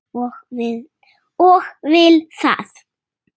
Og vill það.